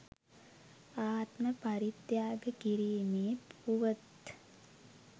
ආත්ම පරිත්‍යාග කිරීමේ පුවත්